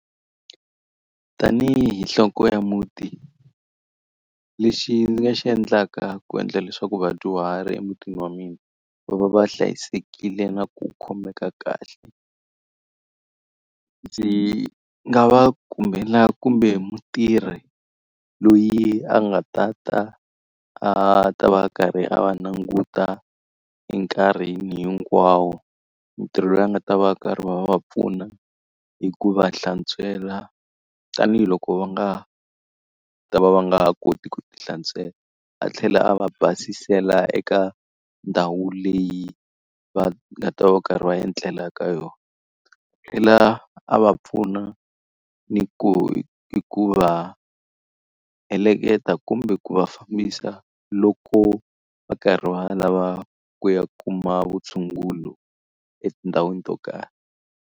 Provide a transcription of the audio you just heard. Tanihi nhloko ya muti lexi ndzi nga xi endlaka ku endla leswaku vadyuhari emutini wa mina va va va hlayisekile na ku khomeka kahle, ndzi nga va kumbela kumbe mutirhi loyi a nga ta ta a ta va a karhi a va languta enkarhini hinkwawo. Mutirhi loyi a nga ta va karhi a va va pfuna hi ku va hlantswela, tanihiloko va nga ta va va nga ha koti ku ti hlantswela. A tlhela a va basela eka ndhawu leyi va nga ta va va karhi va etlela ka yona, a tlhela a va pfuna ni ku hikuva heleketa kumbe ku va fambisa loko va karhi va lava ku ya kuma vutshunguri etindhawini to karhi.